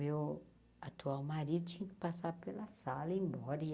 Meu atual marido tinha que passar pela sala e ir embora. e